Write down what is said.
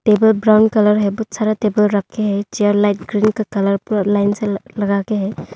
Table brown colour है बहुत सारा टेबल रखे हैं चेयर लाइट ब्ल्यू कलर पूरा लाइन से लगा के हैं।